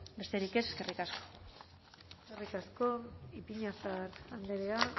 besterik ez eskerrik asko eskerrik asko ipiñazar andrea